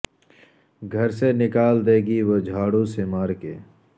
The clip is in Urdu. گھر سے نکال دے گی وہ جھاڑو سے مار کے